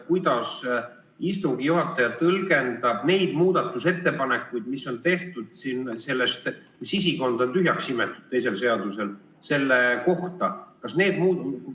Kuidas istungi juhataja tõlgendab neid muudatusettepanekuid, mis on tehtud selle kohta, et sisikond on teisel seadusel tühjaks imetud?